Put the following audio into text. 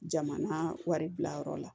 Jamana waribilayɔrɔ la